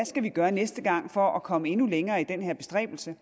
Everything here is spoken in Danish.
skal gøre næste gang for at komme endnu længere i den her bestræbelse